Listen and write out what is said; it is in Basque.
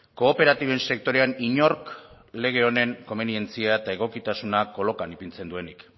kooperatiben sektorean inork lege honen komenientzia eta egokitasuna kolokan ipintzen duenik